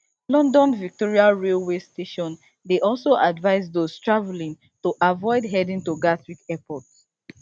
london victoria railway station dey also advise those travelling to avoid heading to gatwick airport